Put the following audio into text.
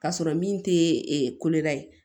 K'a sɔrɔ min tɛ koda ye